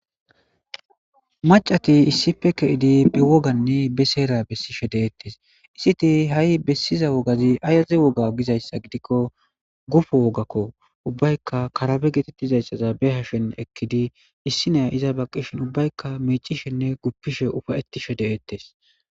macati issife ke7idi be woganne be seera bessi she deeettes issiti ha7i bessiza wogazi ayaze woga gizayssa gidikko gufu wogakko ubbaykka karabe geetettizayssaza be hashen ekkidi issi neya iza ba qishin ubbaykka mecishenne guppishe ufayeti shede7ettes